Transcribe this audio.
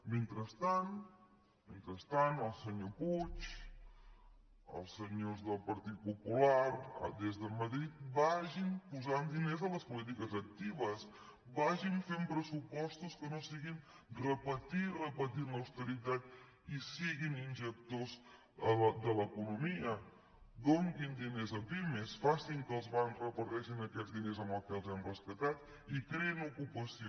mentrestant mentrestant el senyor puig els senyors del partit popular des de madrid vagin posant diners a les polítiques actives vagin fent pressupostos que no siguin repetir i repetir en la austeritat i siguin injectors de l’economia donin diners a pimes facin que els bancs reparteixin aquests diners amb què els hem rescatat i creïn ocupació